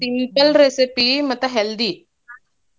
Simple recipe ಮತ್ತ್ healthy .